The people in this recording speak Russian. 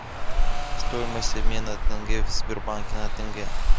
стоимость обмена тенге в сбербанке на тенге